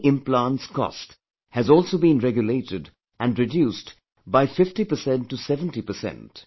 Knee implants cost has also been regulated and reduced by 50% to 70%